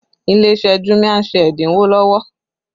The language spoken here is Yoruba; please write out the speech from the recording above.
Ilé iṣẹ́ jumia ń ṣe ẹ́dínwó lọ́wọ́